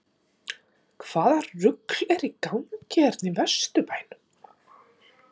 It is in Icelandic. HVAÐA RUGL ER Í GANGI HÉRNA Í VESTURBÆNUM???